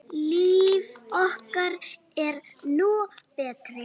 Líf okkar er nú breytt